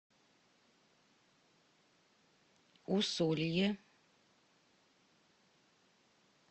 усолье